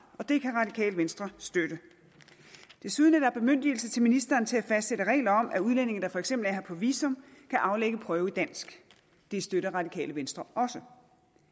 det kan radikale venstre støtte desuden er der bemyndigelse til ministeren til at fastsætte regler om at udlændinge der for eksempel er her på visum kan aflægge prøve i dansk det støtter radikale venstre også